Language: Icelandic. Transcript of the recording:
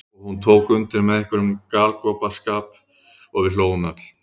Og hún tók undir með einhverjum galgopaskap og við hlógum öll.